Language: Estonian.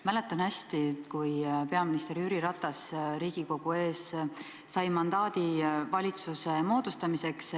Mäletan hästi, kui peaminister Jüri Ratas Riigikogu ees sai mandaadi valitsuse moodustamiseks.